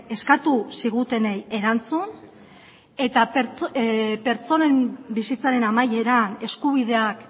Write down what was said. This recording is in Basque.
eskatu zigutenei erantzun eta pertsonen bizitzaren amaieran eskubideak